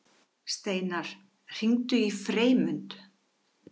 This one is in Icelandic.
Steinar, hringdu í Freymund.